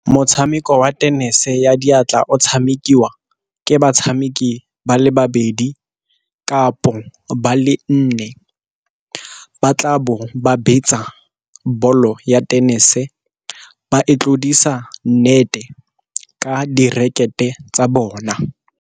Motshameko wa tenese ya diatla o tshamekiwa ke batshameki ba le babedi, kapo ba le nne. Ba tla bo ba betsa bolo ya tenese ba e tlodisa nnete ka dirakete tsa bona.